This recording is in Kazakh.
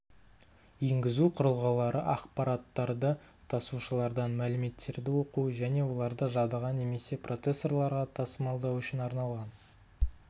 енгізу құрылғылары ақпараттарды тасушылардан мәліметтерді оқу және оларды жадыға немесе процессорларға тасымалдау үшін арналған